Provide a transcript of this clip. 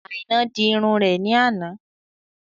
Àínà dì ìrún rẹ̀ ní àná